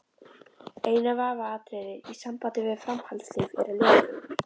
Eina vafaatriðið í sambandi við framhaldslíf eru leðurblökur.